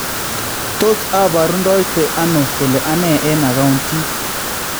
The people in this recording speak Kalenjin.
tos aboruundoite ano kole anne en akauntiit?